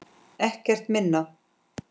Ekkert minna!